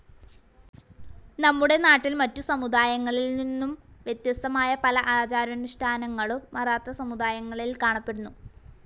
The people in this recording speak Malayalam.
നമ്മുടെ നാട്ടിൽ മറ്റു സമുദായങ്ങളിൽ നിന്നും വ്യത്യസ്തമായ പല ആചാരാനുഷ്ഠാനങ്ങളും മറാത്താ സമുദായങ്ങളിൽ കാണപ്പെടുന്നു.